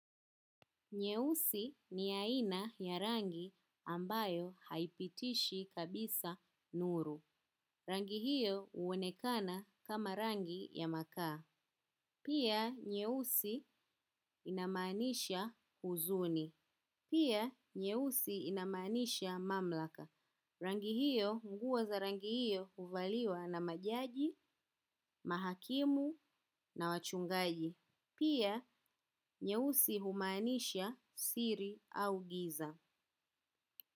Nyeusi ni aina ya rangi ambayo haipitishi kabisa nuru. Rangi hiyo uonekana kama rangi ya makaa. Pia nyeusi inamaanisha huzuni. Pia nyeusi inamaanisha mamlaka. Rangi hiyo nguo za rangi hiyo uvaliwa na majaji, mahakimu na wachungaji. Pia nyeusi humaanisha siri au giza. Muzika.